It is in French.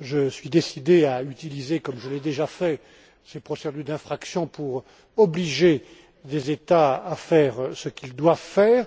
Je suis décidé à utiliser comme je l'ai déjà fait ces procédures d'infraction pour obliger les États membres à faire ce qu'ils doivent faire,